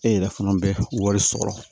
E yɛrɛ fana bɛ wari sɔrɔ